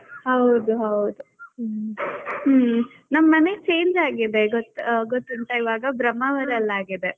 ಹೌದು, ಹೌದು ಹ್ಮ್ ಹ್ಮ್ ಮನೆ change ಆಗಿದೆ ಇವಾಗ ಗೊತ್~ ಗೊತ್ತುಂಟಾ ಬ್ರಹ್ಮಾವರಲ್ಲಿ ಆಗಿದೆ.